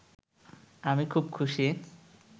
আমি খুব খুশি